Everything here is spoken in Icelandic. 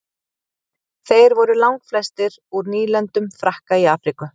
þeir voru langflestir úr nýlendum frakka í afríku